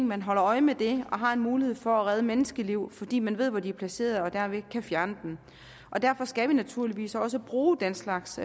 man holder øje med det og har en mulighed for at redde menneskeliv fordi man ved hvor de er placeret og derved kan fjerne dem og derfor skal vi naturligvis også bruge den slags